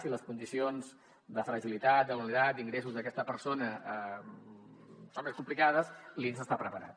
si les condicions de fragilitat de vulnerabilitat d’ingressos d’aquesta persona són més complicades l’inss està preparat